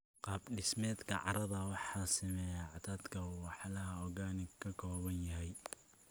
Qaab dhismeedka carrada waxaa saameeya cadadka walxaha organic ka kooban yahay.